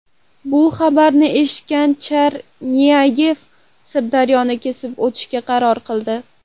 Bu xabarni eshitgan Chernyayev Sirdaryoni kesib o‘tishga qaror qildi.